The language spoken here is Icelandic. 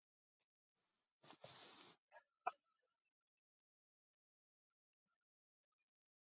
Þórar, hvað er klukkan?